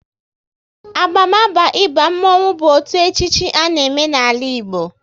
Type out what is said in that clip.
Abamaba ịba mmonwu bụ otu echichi a na eme n'ala Igbo